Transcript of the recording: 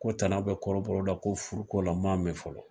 Ko tana be kɔrɔbɔrɔ la ko furu ko la, n ma mɛn fɔlɔ.